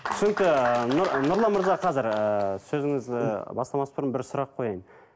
түсінікті нұр ы нұрлан мырза қазір ыыы сөзіңізді бастамас бұрын бір сұрақ қояйын